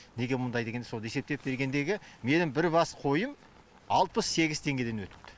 неге мұндай дегенде сол есептеп бергендегі менің бір бас қойым алпыс сегіз теңгеден өтіпті